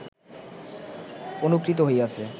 অনুকৃত হইয়াছে